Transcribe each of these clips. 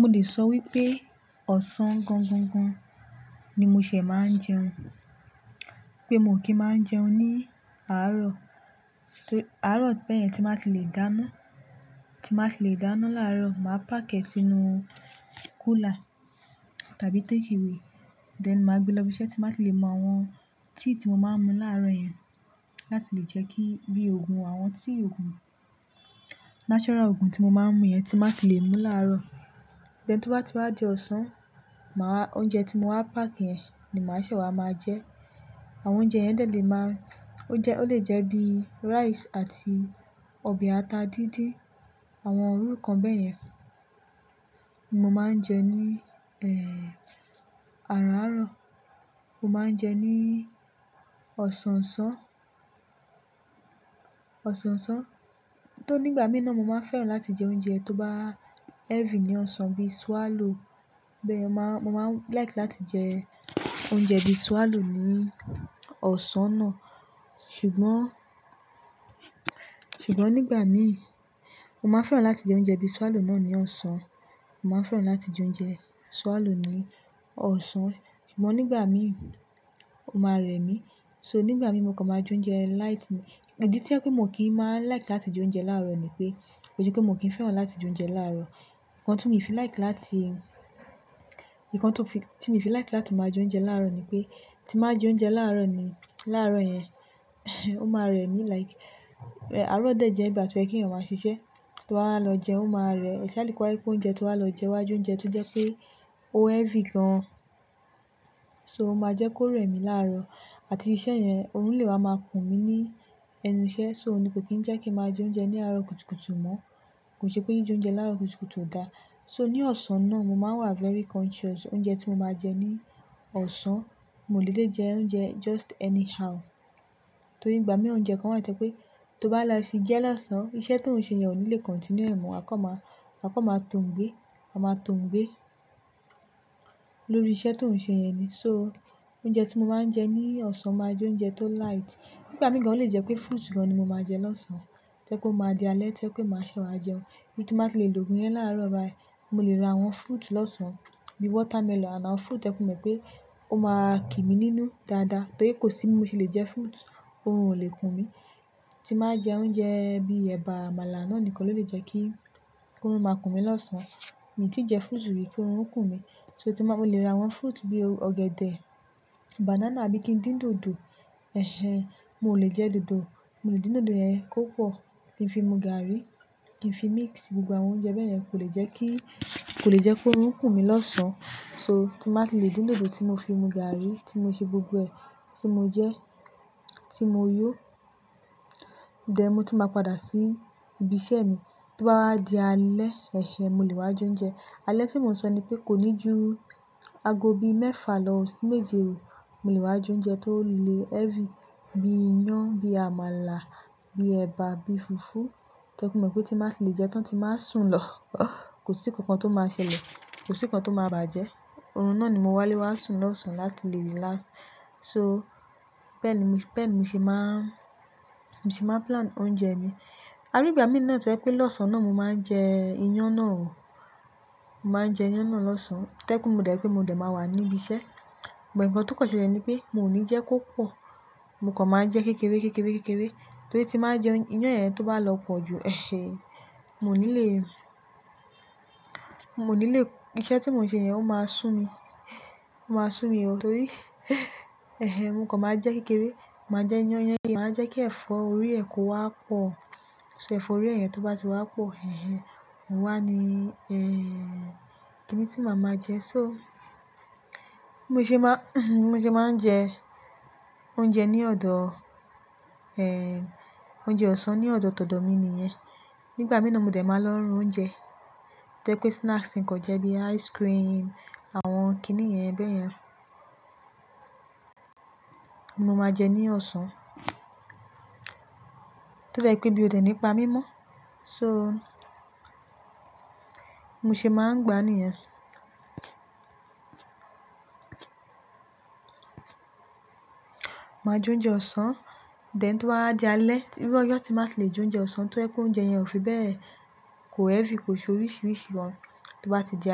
Mo lè sọ wípé ọ̀sán gan gan gan ni mo ṣẹ̀ máa ń jẹun. Pé mo kí máa ń jẹun ní àárọ̀, àárọ̀ bẹ́ẹ̀ yẹn tí máa ti le dáná, tí máa ti le dáná láàárọ̀. Màá párk ẹ sínú cooler tàbí táke away, then màá gbé lọ ibiṣẹ́ tí máa ti le mú àwọn tíì tí mo máa ń mu láàárọ̀ yẹn láti lè jẹ́ kí bí òògùn, àwọn tíì òògùn, natural òògùn tí mo máa ń mu yẹn tí máa ti le mú láàárọ̀. Then to bá ti wá di ọ̀sán, màá, oúnjẹ tí mo wá párk yẹn ni màá ṣẹ̀ wá máa jẹ. Àwọn oúnjẹ yẹn dẹ̀ lè máa, ó lè jẹ́ bí rice àti ọbẹ̀ ata dídín. Àwọn irú kan bẹ́ẹ̀ yẹn ni mo máa ń jẹ ní, eh, àárọ̀ àárọ̀. Mo máa ń jẹ ní ọ̀sán ọ̀sán, ọ̀sán ọ̀sán. Tó nígbà mí náà mo máa ń fẹ́ràn láti jẹ oúnjẹ tó bá heavy ní ọ̀sán bí swallow. Bẹ́ẹ̀ mo máa ń like láti jẹ oúnjẹ bí swallow ní ọ̀sán náà. Ṣùgbọ́n, ṣùgbọ́n nígbà mí, mo máa ń fẹ́ràn láti jẹ oúnjẹ bí swallow náà ní ọ̀sán. Mo máa ń fẹ́ràn láti jẹ oúnjẹ swallow ní ọ̀sán. Ṣùgbọ́n nígbà mí ó máa rẹ mí. So nígbà mí mo kàn máa jẹ oúnjẹ light. Idí tí o jẹ pé mo kì í máa like láti jẹ oúnjẹ láàárọ̀ ni pé, kí se pe mo kì ń fẹ́ràn láti jẹ oúnjẹ láàárọ̀. Ǹkan ti mi fi like láti, ǹkan tó fi, tí mi fi like láti máa jẹ oúnjẹ láàárọ̀ ni pé, tí màá jẹ oúnjẹ láàárọ̀ ni, láàárọ̀ yẹn, o máa rẹ mí like. Àárọ̀ dẹ̀ jẹ́ ìgbà tó yẹ kí èèyàn máa ṣiṣẹ́. To ba wá lọ jẹun ó máa rẹ. Especially kó wá je pé oúnjẹ to wá lọ jẹ wá jẹ oúnjẹ tó jẹ́ pé ó heavy gan. So ó máa jẹ́ kó rẹ mí láàárọ̀. Àti se iṣẹ́ yẹn, oorun lè wá máa kùn mí ní ẹnu iṣẹ́. So ni kò kín ń jẹ́ kí màá jẹ oúnjẹ ní àárọ̀ kùtùkùtù mọ́. Kò ṣe pé jí jẹ oúnjẹ láàárọ̀ kùtùkùtù ò da. So ní ọ̀sán náà mo máa wá very conscious. Oúnjẹ tí mo máa jẹ ní ọ̀sán, mi o lè dedè jẹ oúnjẹ just anyhow. Torí nígbà mí oúnjẹ kan wá to jẹ́ pé tó bá la fi jẹ́ losán, iṣẹ́ tó ń ṣe yẹn ò ní le continue ẹ̀ mo wa kàn máa, wa kàn máa tóogbé. Wa máa tóogbé lórí iṣẹ́ tó ń ṣe yẹn ni. So oúnjẹ tí mo máa ń jẹ ní ọ̀sán máa jẹ oúnjẹ tó light. Nígbà mí gan o lè jẹ́ pé fruits gan ni mo máa jẹ losán. To jẹ́ pó máa di alẹ́ to jẹ́ pé màá ṣẹ̀ wá jẹun. Bí tí n bá ti le lògun yẹn láàárọ̀ báyi. Mo lè ra àwọn fruit lọ́sàn-án bí watermelon àti àwọn fruit to jẹ́ mo mọ̀ pé ó máa kí mi nínú dáadáa. Torí kò sí bí mo ti lè jẹ fruit, orun ò lè kùn mí. Tí n bá jẹ oúnjẹ bí ẹ̀bà, àmàlà náà nìkan ló lè jẹ́ kí, kí orun máa kùn mí lọ́sàn-án. Mi tí jẹ fruit rí ki orun o kùn mí. So tí máa, mo lè ra àwọn fruit bí ọ̀gẹ̀dẹ̀, banana, àbí kí ń dín dòdò. Eh-hen, mo lè jẹ dòdò, mo lè dín dòdò yẹn kò pọ̀. Kì n fi mu gààrí, kì n fi mix gbogbo àwọn oúnjẹ bẹ́ẹ̀ yẹn kò lè jẹ́ kí, kò lè jẹ́ kí orun o kùn mí lọ́sán. So tí n bá ti lè dín dòdò tí mo fi mu gààrí tí mo ṣe gbogbo ẹ, tí mo jẹ, tí mo yó. Then mo tún maá padà sí ibi iṣẹ́ mi, to bá wá di alẹ́, eh-hen, mo lè wá jẹ oúnjẹ. Alẹ́ tí mò ń sọ ni pé kò ní ju aago bí mẹ́fà lọ sí méje òò. Mo lè wá jẹ oúnjẹ tó lè heavy bí iyán, bí àmàlà, bí ẹ̀bà, bí fùfú. To je mọ̀ mo pé tí n bá ti lè jẹ́ tán tí n bá sùn lọ. Kò sí nǹkan kan tó máa ṣẹlẹ̀, kò sí nǹkan kan tó máa bàjẹ́. Oorun náà ni mo wá lè wá sùn lọ́sán láti lè relax. So bẹ́ẹ̀ ní mi, bẹ̀ ní mo ṣe máa, ṣe máa ń plan oúnjẹ mi. Àrígbà mí náà to jẹ́ pé lọ́sán náà mo máa ń jẹ iyán náà ò. Mo máa ń jẹ iyán náà lọ́sán to jẹ́ pe mo dẹ̀ pé mo dẹ̀ máa wà ní ibi iṣẹ́. But ǹkan tó kàn ṣẹlẹ̀ ni pé mi o ní jẹ́ kó pọ̀. Mo kàn máa ń jẹ kékeré, kékeré, kékeré. Torí tí n bá jẹ iyán yẹn tó bá lọ pọ̀ ju, eh-hen, mo ní lè, mo ní lè, iṣẹ́ tí mò ń ṣe yẹn ó máa sún mi. Ó máa sún mi o torí, eh-hen, mo kàn máa jẹ kékeré. Mo máa jẹ iyán yẹn, màá jẹ́ kí ẹ̀fọ́ orí ẹ kó wá pọ̀. So ẹ̀fọ́ orí ẹ yẹn tó bá ti wá pọ̀, eh-hen, oun wà ní, eh-hen, kíni tí màá máa jẹ? So mo ṣe máa, mo ṣe máa ń jẹ oúnjẹ ní ọ̀dọ̀, eh-hen, oúnjẹ ọ̀sán ní ọ̀dọ̀ tòdò mi ni yẹn. Nígbà mí náà mo dẹ̀ máa lọ ra oúnjẹ. To jẹ́ pé snacks nǹkan jẹ́ bí ice cream, àwọn kíni yẹn bẹ́ẹ̀ yẹn mó máa jẹ ní ọ̀sán. To dẹ́ jè pé ebí ó dẹ̀ nípa mi mọ́. So mo ṣe máa ń gbá níyẹn. Màá jẹ oúnjẹ ọ̀sán, then to ba wá di alẹ́, irú ojọ tí n bá ti lè jẹ oúnjẹ ọ̀sán to jẹ pe oúnjẹ yẹn ò fi bẹ́ẹ̀, kò heavy kò ṣe oríṣiríṣi gan, tí ó bá ti di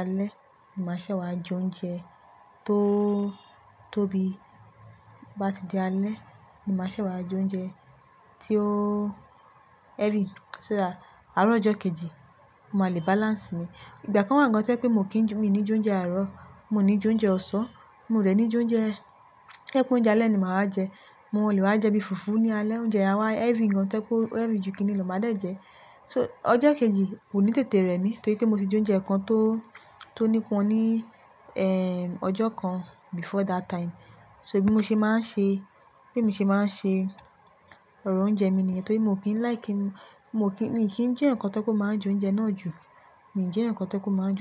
alẹ́ ni màá ṣẹ̀ wá jẹ oúnjẹ tó, tó bí, bá ti di alẹ́ ni màá ṣẹ̀ wá jẹ oúnjẹ tí ó heavy. So that àárọ̀ ọjọ́ kejì mo máa lè balance mi. Ìgbà kan wá gan to jẹ́ pé mo kì í, mi ní jẹ oúnjẹ àárọ̀, mo ní jẹ oúnjẹ ọ̀sán, mo dẹ̀ ní jẹ oúnjẹ, tẹ́ pé oúnjẹ alẹ́ ni màá wá jẹ. Mo lè wá jẹ bí fùfú ní alẹ́, oúnjẹ yen a wá heavy gan to jẹ́ pe o heavy ju kíni lọ màá dẹ̀ jẹ́. So ọjọ́ kejì kò ní tètè rẹ́ mi torí pé mo ti jẹ oúnjẹ kan tó, tó nípọn ní, eh-hen, ọjọ́ kan before that time. So bí mo ṣe máa ń ṣe, bí èmi ṣe máa ń ṣe ọ̀rọ̀ oúnjẹ mi nìyẹn torí mo kì í like, mo kì í, mi kì í jẹ́ eeyaǹ kan tó je pe ó máa jẹ oúnjẹ náà jù. Mi ò jẹ́ eeyaǹ kan tó je pe ó máa jẹ.